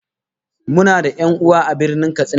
Muna da 'yan'uwa a Birnin Katsina